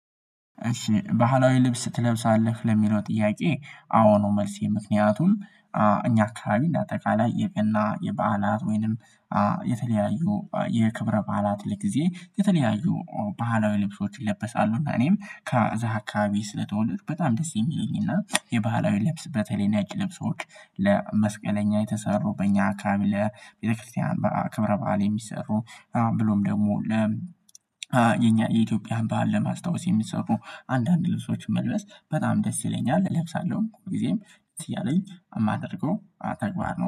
እሺ ባህላዊ ልብስ ትለብሳለህ? ለሚለው ጥያቄ አዎ ነው መልሴ ምክንያቱም እኛ አካባቢ እንደ አጠቃላይ የገና የበዓላት ወይንም የተለያዩ የክብረ በዓላት ጊዜ የተለያዩ ባህላዊ ልብሶች ይለብሳሉ እና እኔም ከዛ አካባቢ ስለተወለድኩ በጣም ደስ የሚለኝ እና የባህላዊ ልብስ በተለይ ነጭ ልብሶች ለመስቀለኛ የተሰሩ በእኛ አካባቢ ለቤተክርስቲያን በክብረ በዓል የሚሰሩ ብሎም ደግሞ የኛ የኢትዮጵያን በዓል ለማስታወስ የሚሰሩ አንዳንድ ልብሶችን መልበስ በጣም ደስ ይለኛል እለብሳለሁ ጊዜም እያለኝ የማደርገው ተግባር ነው